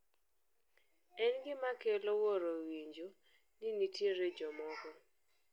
en gima kelo wuoro winjo ni nitie jomoko